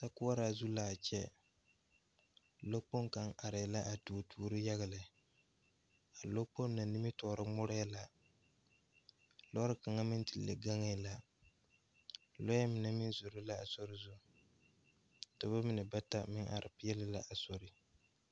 Sokoɔraa zu laa kyɛ lɔ kpoŋ kaŋ areɛɛ a tuo tuobo yaga lɛ a lɔ kpoŋ na nimitoore ngmɔreɛɛ la lɔre kaŋa meŋ te le gaŋɛɛ la lɔɛ mine meŋ zoro la a sore zu dɔbɔ mine bata meŋ are peɛɛle la a sore.